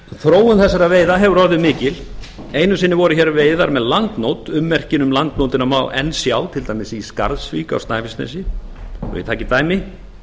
þróun þessara veiða hefur orðið mikil einu sinni voru hér veiðar með landnót ummerkin um landnótina má enn sjá til dæmis í skarðsvík á snæfellsnesi svo ég taki dæmi